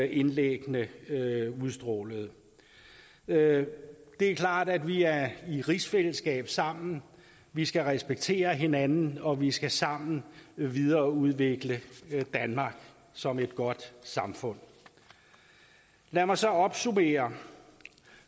indlæggene udstrålede det er klart at vi er i rigsfællesskab sammen vi skal respektere hinanden og vi skal sammen videreudvikle danmark som et godt samfund lad mig så opsummere